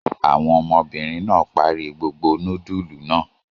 Àwọn ọmọbìnrin náà parí gbogbo núdúlù náà?